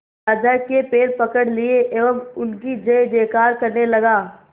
राजा के पैर पकड़ लिए एवं उनकी जय जयकार करने लगा